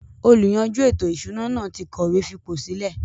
“ Olùyanjú ètò-ìsúná” náà ti kọ ìwé fipòsílẹ̀